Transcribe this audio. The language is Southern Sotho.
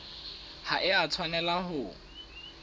ha e a tshwanela ho